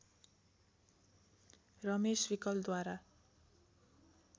Ramesh विकलद्वारा